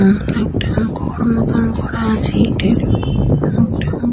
ঘর মতন করা আছে ইটের --